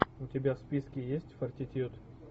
у тебя в списке есть фортитьюд